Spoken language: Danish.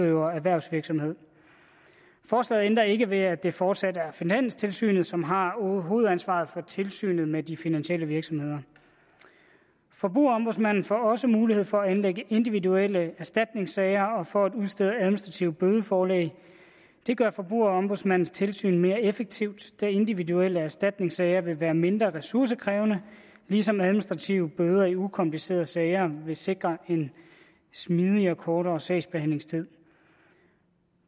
erhvervsvirksomhed forslaget ændrer ikke ved at det fortsat er finanstilsynet som har hovedansvaret for tilsynet med de finansielle virksomheder forbrugerombudsmanden får også mulighed for at anlægge individuelle erstatningssager og for at udstede administrative bødeforlæg det gør forbrugerombudsmandens tilsyn mere effektivt da individuelle erstatningssager vil være mindre ressourcekrævende ligesom administrative bøder i ukomplicerede sager vil sikre en smidigere og kortere sagsbehandlingstid